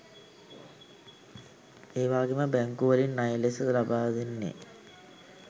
එවාගෙම බැංකු වලින් ණය ලෙස ලබාදෙන්නෙ